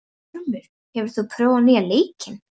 Ormur, hefur þú prófað nýja leikinn?